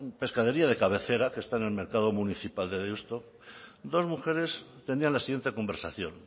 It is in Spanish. pescadería de cabecera que está en el mercado municipal de deusto dos mujeres tendían la siguiente conversación